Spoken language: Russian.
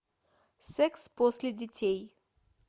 секс после детей